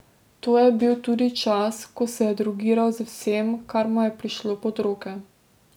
To je bil tudi čas, ko se je drogiral z vsem, kar mu je prišlo pod roke.